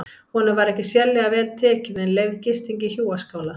Honum var ekki sérlega vel tekið en leyfð gisting í hjúaskála.